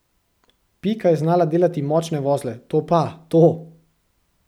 Pika je znala delati močne vozle, to pa, to!